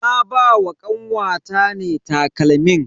Na ba wa kanwata ne takalmin.